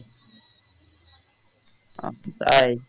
আহ তাই?